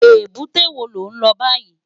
Ébùté wó ló n lò bàyí?